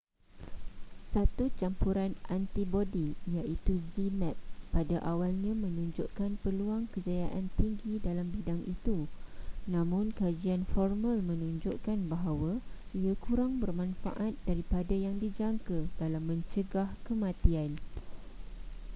satu campuran antibodi iaitu zmapp pada awalnya menunjukkan peluang kejayaan tinggi dalam bidang itu namun kajian formal menunjukkan bahawa ia kurang bermanfaat daripada yang dijangka dalam mencegah kematian